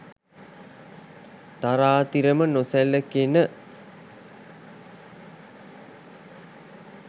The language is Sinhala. තරාතිරම නොසැලකෙන